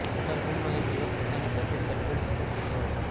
hotel રૂમમા એક યુવક પોતાની કથિત ગર્લફ્રેન્ડ સાથે સૂતો હતો